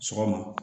Sɔgɔma